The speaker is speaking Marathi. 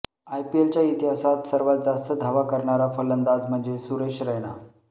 आयपीएलच्या इतिहासात सर्वात जास्त धावा करणारा फलंदाज म्हणजे सुरेश रैना